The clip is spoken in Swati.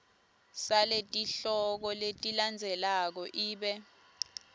saletihloko letilandzelako ibe